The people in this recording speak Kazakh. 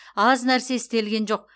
аз нәрсе істелген жоқ